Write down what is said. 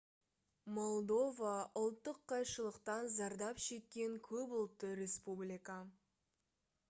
молдова ұлттық қайшылықтан зардап шеккен көп ұлтты республика